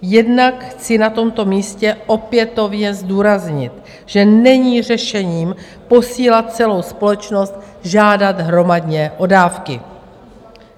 Jednak chci na tomto místě opětovně zdůraznit, že není řešením posílat celou společnost žádat hromadně o dávky.